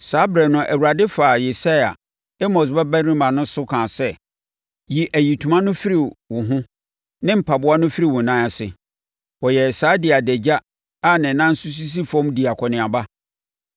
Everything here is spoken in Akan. saa ɛberɛ no Awurade faa Yesaia, Amos babarima so kasaa sɛ, “Yi ayitoma no firi wo ho ne mpaboa no firi wo nan ase.” Ɔyɛɛ saa de adagya a ne nan nso sisi fam dii akɔneaba.